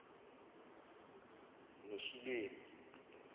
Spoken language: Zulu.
noshilemi